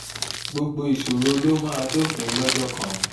gbogbo ìṣòro ló máa dópin lọ́jọ́ kan